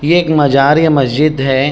ये एक मज़ार या मस्जिद है।